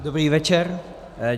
Dobrý večer.